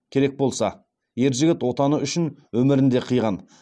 керек болса ер жігіт отаны үшін өмірін де қиған